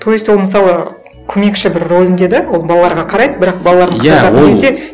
то есть ол мысалы көмекші бір рөлінде де ол балаларға қарайды бірақ балаларын қарататын кезде